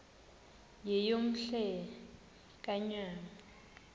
yeyom hle kanyawo